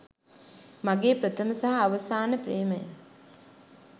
මගේ ප්‍රථම සහ අවසාන ප්‍රේමය.